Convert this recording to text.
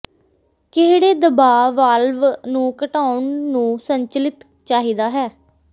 ਕਿਹੜੇ ਦਬਾਅ ਵਾਲਵ ਨੂੰ ਘਟਾਉਣ ਨੂੰ ਸੰਚਲਿਤ ਚਾਹੀਦਾ ਹੈ